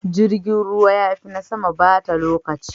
Jirgin ruwa ya fi na sama bata lokaci.